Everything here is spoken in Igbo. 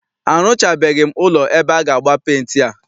Arụchabeghi ụlọ ebe aga agba penti a.